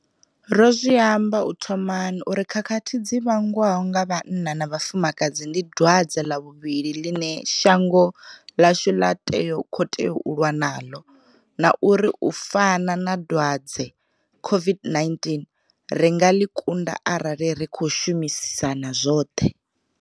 Ro zwi amba u thomani uri khakhathi dzi vhangwaho nga vhanna kha vhafumakadzi ndi dwadze ḽa vhuvhili ḽine shango ḽashu ḽa khou tea u lwa naḽo na uri u fana na dwadze COVID-19 ri nga ḽi kunda arali ri khou shumisana zwoṱhe.